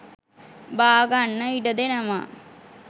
බාගන්න ඉඩ දෙනවා